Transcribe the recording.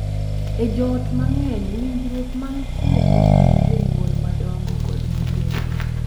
E joot mang’eny, winjruok mantie e kind jonyuol madongo kod nyithindgi .